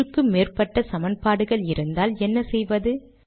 ஒன்றுக்கு மேற்பட்ட சமன்பாடுகள் இருந்தால் என்ன செய்வது